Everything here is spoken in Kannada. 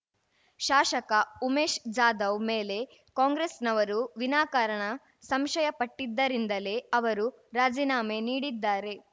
ಶಾಸಕ ಉಮೇಶ ಜಾಧವ್‌ ಮೇಲೆ ಕಾಂಗ್ರೆಸ್‌ನವರು ವಿನಾಕಾರಣ ಸಂಶಯ ಪಟ್ಟಿದ್ದರಿಂದಲೇ ಅವರು ರಾಜೀನಾಮೆ ನೀಡಿದ್ದಾರೆ